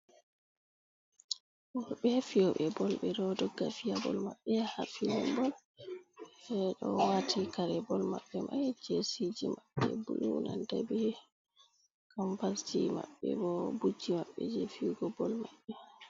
Himɓe fiyobe bol ɓe ɗo dogga fiya bol maɓɓe ha filii bol, ɓe ɗo wati kare bol maɓɓe mai jesi ji maɓɓe ɓe nanata paɗe kam as ji mabbe bo budji maɓɓe je fiyugo bol maɓɓe.